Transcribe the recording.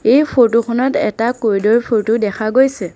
এই ফটো খনত এটা ক'ৰিডৰ ফটো দেখা গৈছে।